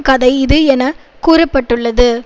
கதை இது என கூற பட்டுள்ளது